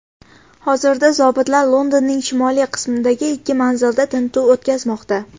Hozirda zobitlar Londonning shimoliy qismidagi ikki manzilda tintuv o‘tkazmoqda.